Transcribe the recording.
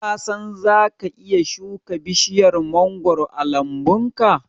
Ka san zaka iya shuka bishiyar mangoro a lambunka?